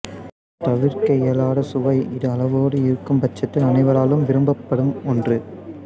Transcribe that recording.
தவிர்க்க இயலாத சுவை இது அளவோடு இருக்கும்பட்சத்தில் அனைவராலும் விரும்பப்படும் ஒன்று